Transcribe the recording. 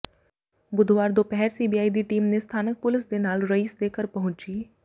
ਬੁੱਧਵਾਰ ਦੁਪਹਿਰ ਸੀਬੀਆਈ ਦੀ ਟੀਮ ਨੇ ਸਥਾਨਕ ਪੁਲਿਸ ਦੇ ਨਾਲ ਰਈਸ ਦੇ ਘਰ ਪਹੁੰਚੀ